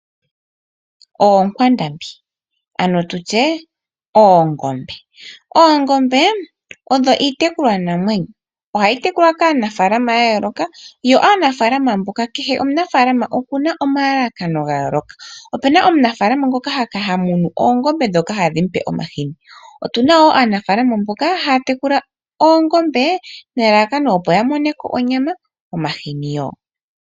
Oonkwandambi. Ano tutye, oongombe. Oongombe odho iitekulwa namwenyo. Ohayi tekulwa kaanafaalama ya yooloka, yo aanafaalama mboka kehe omunafaalama okuna omalalakano ga yooloka. Opuna omunafaalama ngoka ha munu oongombe dho ku mupa omahini. Otuna wo aanafaalama mboka haya tekula oongombe, nelalakano opo ya moneko onyama, omahini yo.